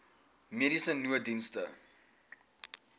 mediese nooddienste